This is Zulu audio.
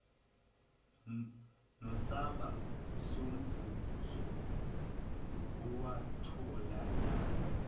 nesamba somvuzo owatholakala